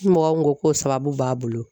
Ni mɔgɔ min ko k'o sababu b'a bolo